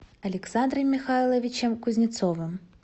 александром михайловичем кузнецовым